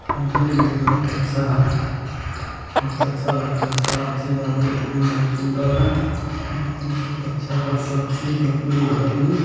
देखने में भी बहुत अच्छा है बहुत अच्छा लगता है | सारा चीज़ आरो देखने में बहुत सुन्दर है अच्छा है सब चीज़ देखने में घर भी |